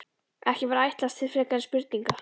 Ekki var ætlast til frekari spurninga.